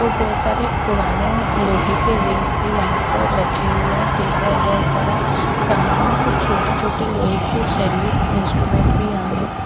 और बहोत सारे पुराने लोहे के रिंग्स भी यहां पर रखे हुए हैं दूसरा बहोत सारा सामान है कुछ छोटे छोटे लोहे के सरिए इंस्ट्रूमेंट भी यहां है।